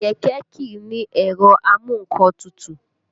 Kẹ̀kẹ́ kìí ní ẹ̀rọ amu nǹkan tutù